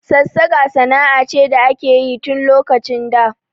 Sassaƙa sana'a ce da akeyi tun lokacin da